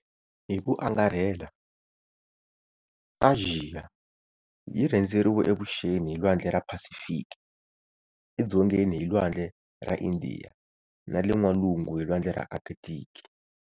Hiku angarhela, Axiya yi rhendzeriwe evuxeni hi lwandle ra Phasifiki, edzongeni hi lwandle ra Indiya, na le n'walungu hi lwandle ra Arkthiki.